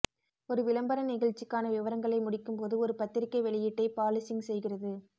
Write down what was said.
ஒரு விளம்பர நிகழ்ச்சிக்கான விவரங்களை முடிக்கும்போது ஒரு பத்திரிகை வெளியீட்டைப் பாலிசிங் செய்கிறது